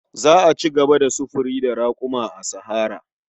Za a ci gaba da sufuri da raƙuma a sahara.